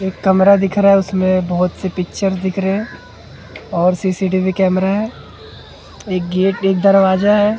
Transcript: एक कमरा दिख रहा है उसमें बहुत सी पिक्चर दिख रहे हैं और सी_सी_टी_वी कैमरा है एक गेट एक दरवाजा है।